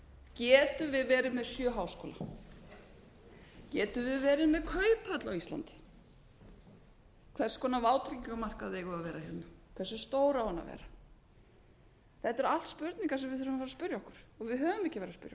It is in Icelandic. getum við verið með sjö háskóla getum við verið með kauphöll á íslandi hvers konar vátryggingamarkaður eiga að vera hérna helstu stór á hann að vera þetta eru allt spurningar sem við verðum að fara að spyrja okkur og við höfum ekki